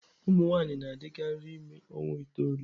Ụmụ nwanyị na-adịkarị ime ọnwa itoolu.